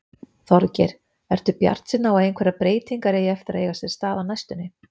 Þorgeir: Ertu bjartsýnn á að einhverjar breytingar eigi eftir að eiga sér stað á næstunni?